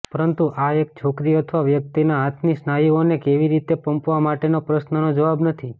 પરંતુ આ એક છોકરી અથવા વ્યક્તિના હાથની સ્નાયુઓને કેવી રીતે પંપવા માટેના પ્રશ્નનો જવાબ નથી